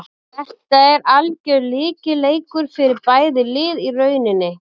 Þetta er algjör lykilleikur fyrir bæði lið í rauninni.